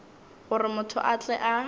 gore motho a tle a